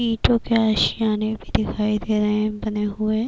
ایٹو کے آشیانے بھی دکھائی دے رہے ہے بنے ہوئے--